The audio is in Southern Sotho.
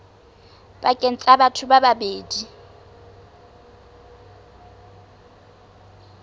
pakeng tsa batho ba babedi